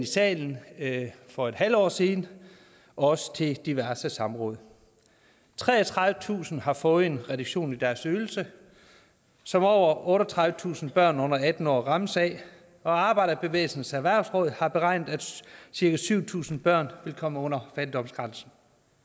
salen for et halvt år siden og også til diverse samråd treogtredivetusind har fået en reduktion i deres ydelse som over otteogtredivetusind børn under atten år rammes af og arbejderbevægelsens erhvervsråd har beregnet at cirka syv tusind børn vil komme under fattigdomsgrænsen